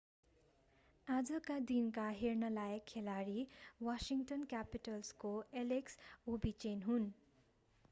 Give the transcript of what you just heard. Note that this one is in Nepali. आजका दिनका हेर्नलायक खेलाडी वाशिङ्गटन क्यापिटल्सको एलेक्स ओभेचिन हुन्